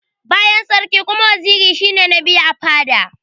Bayan sarki kuma, waziri shi ne na biyu a fada.